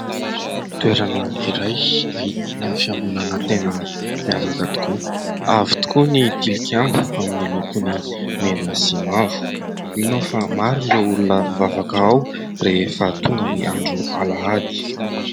Toerana iray, ahitana fiangonana tena miavaka tokoa. Avo tokoa ny tilikambo amin'ny lokony mena sy mavo. Mino aho fa maro ireo olona mivavaka ao rehefa tonga ny andro alahady.